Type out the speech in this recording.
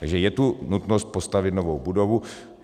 Takže je tu nutnost postavit novou budovu.